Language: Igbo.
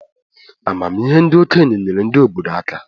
Amamihe ndi okenye nyeere ndi obodo aka.